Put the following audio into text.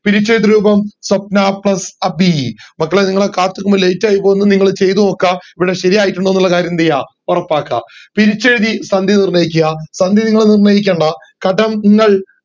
പിരിച്ചെഴുത്ത് രൂപം സ്വപ്ന plus അഭി മക്കളെ ഇങ്ങളെ കാത്ത് നിക്കുമ്പോ late ആയിപോന്നു ഇങ്ങൾ ചെയ്തോക്ക ഇവിടെ ശരി ആയിട്ടുണ്ടോന്നുള്ള കാര്യം എന്ത് ചെയ്യുവ ഒറപ്പാക്ക പിരിച്ചെഴുതി സന്ധി നിർണയിക്കുക സന്ധി നിങ്ങൾ നിർണയിക്കണ്ട കടംങ്ങൾ